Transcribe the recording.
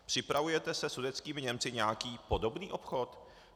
Připravujete se sudetskými Němci nějaký podobný obchod?